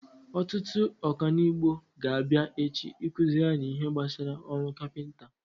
Ọtụtụ ọkanibo ga-abịa echi ịkụziri anyị ihe gbasara ọrụ kapinta.